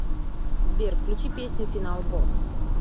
сбер включи песню финал босс